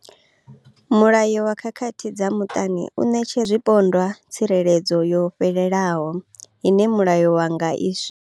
Mulayo wa khakhathi dza muṱani u ṋetshedza zwipondwa tsireledzo yo fhelelaho ine mulayo wa nga i swikela.